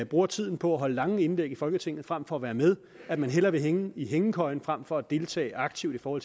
bruger tiden på at holde lange indlæg i folketinget frem for at være med at man hellere vil hænge i hængekøjen fremfor at deltage aktivt for